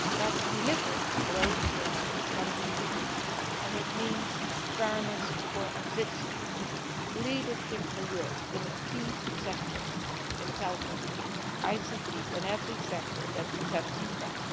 Let us deliver growth for our economy. It means fairness for our citizens and leadership for Europe in a key sector in telecoms, ICT and every sector that depends on them.